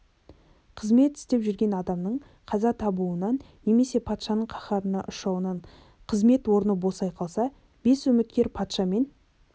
қызмет істеп жүрген адамның қаза табуынан немесе патшаның қаһарына ұшырауынан қызмет орны босай қалса бес үміткер патша мен